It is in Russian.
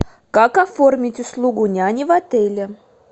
как оформить услугу няни в отеле